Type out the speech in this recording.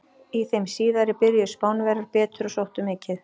Í þeim síðari byrjuðu Spánverjar betur og sóttu mikið.